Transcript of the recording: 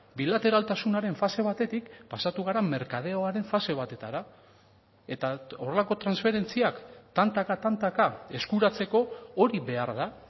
bilateraltasunaren fase batetik pasatu gara merkadeoaren fase batetara eta horrelako transferentziak tantaka tantaka eskuratzeko hori behar da